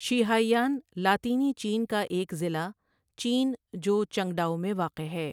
شیہائآن لاطینی چین کا ایک ضلع چین جو چنگڈاؤ میں واقع ہے۔